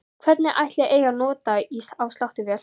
Hvern ætli eigi að nota á sláttuvél?